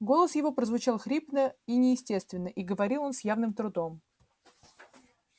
голос его прозвучал хрипло и неестественно и говорил он с явным трудом